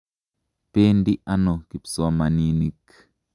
Pendi ano kipsomaninik?